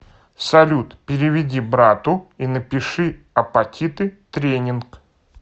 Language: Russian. салют переведи брату и напиши апатиты тренинг